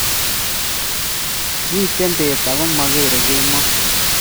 Mite beet agomagere kemoi